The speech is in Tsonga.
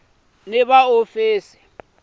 ni va hofisi va vapfuni